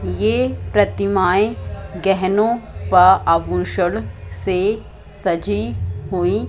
ये प्रतिमाएं गहनों व आभूषण से सजी हुईं--